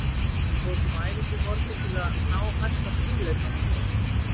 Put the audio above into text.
Við tókum æfingu í morgun til að ná mesta stífleikanum úr okkur.